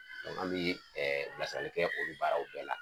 an bii bilasirali kɛ olu baaraw bɛɛ la